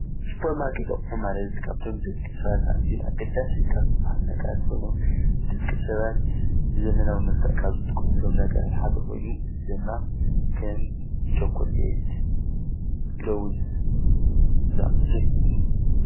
ሱፐርማኬት አቑሑ ማለት ካብቶም ንደቂ ሰባት ኣዝዮም አገዳሲ ካብ ዝበሃሉ ነገራት ኮይኑ፤ ደቂ ሰባት ብዘመናዊ መልክዕ ካብ ዝጥቀምሎም ነገራት ሓደ ኮይኑ፤ እዚ ድማ ከም ቸኮሌት፣ ለውዝ ዝአመሰሉ እዮም፡፡